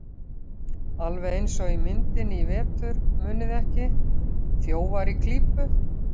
Alveg eins og í myndinni í vetur, muniði ekki: ÞJÓFAR Í KLÍPU.